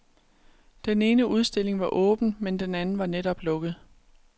Den ene udstilling var åben, men den anden var netop lukket.